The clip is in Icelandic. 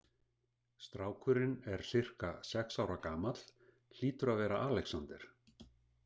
Strákurinn er sirka sex ára gamall, hlýtur að vera Alexander.